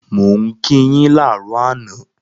Mo n ki yin laarọ àná